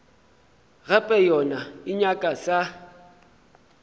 gape yona e nyaka sa